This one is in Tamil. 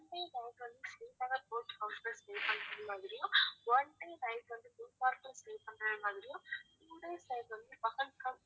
one day night வந்து ஸ்ரீநகர் boat house ல stay பண்றது மாதிரியும் one day night வந்து குல்மார்க்ல stay பண்றது மாதிரியும் two days night வந்து பகல்காம்